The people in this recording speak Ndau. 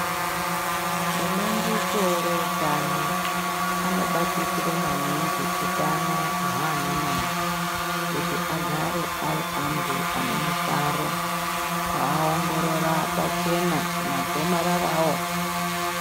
Ebandiko reutano, anobatikire maningi, utano hwaanamai, kuti agare ari antu ane mufaro, kuaongorora pachena magomarara awo